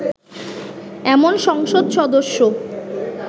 এমন সংসদ সদস্য